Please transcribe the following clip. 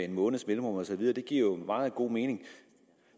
en måneds mellemrum osv giver jo meget god mening